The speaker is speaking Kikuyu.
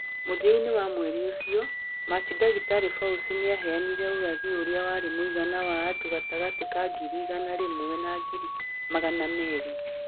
Mũthia-inĩ wa mweri ũcio, Machi Dkt Fauci nĩaheanire ũrathi ũrĩa warĩ wa mũigana wa andũ gatagatĩ ka ngiri igana rĩmwe na ngiri magana merĩ.